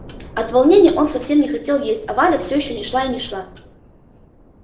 от волнения он совсем не хотел есть а валя все не шла и не шла